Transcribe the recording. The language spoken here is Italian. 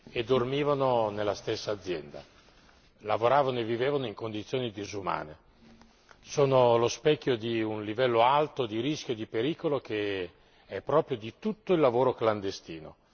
e dormivano nella stessa azienda, lavoravano e vivevano in condizioni disumane sono lo specchio di un livello alto di rischio e di pericolo che è proprio di tutto il lavoro clandestino.